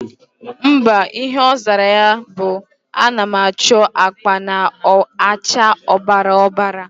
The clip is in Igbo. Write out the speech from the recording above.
Mba, Ihe ozara ya bu:Anam acho akpa na acha obara obara